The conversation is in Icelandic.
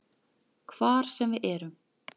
Hvar sem við erum.